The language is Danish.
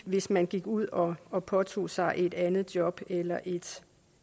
hvis man gik ud og og påtog sig et andet job eller et